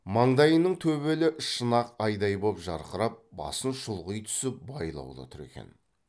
маңдайының төбелі шын ақ айдай боп жарқырап басын шұлғи түсіп байлаулы тұр екен